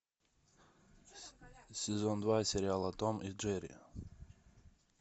сезон два сериала том и джерри